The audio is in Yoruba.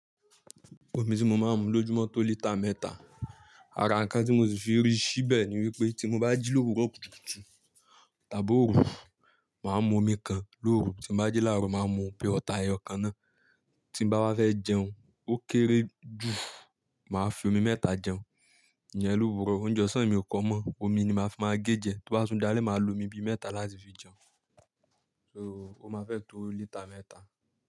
Omi tí mo máa ń mu lójúmọ̀ tó lítà mẹ́ta. Ara nǹkan tí mo sì fi rí síbẹ̀ ni wípé tí mo bá jí lówurọ̀ kùtùkù tàbí òru, màá mu omi kan lóru, tí mo bá jí láàrọ̀ màá mu bí ọta ẹyọ kan náà, tí mo bá wá fẹ́ jẹun, ó kéré jù, màá fi omi mẹ́ta jẹun. Ìyẹn lówúrọ, oúnjẹ ọ̀sán mi ò kọ mọ́, omi ni màá fi máa gé jiẹ, tó bá wa tún dalẹ́ màá lo omi bí mẹ́ta láti fi jẹun. So ó máa fẹ́ tó lítà mẹ́ta.